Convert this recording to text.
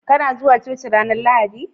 Kana zuwa cuci ranar Lahadi?